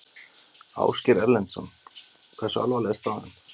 Ásgeir Erlendsson: Hversu alvarleg er staðan?